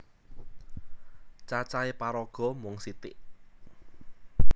Cacahe paraga mung sithik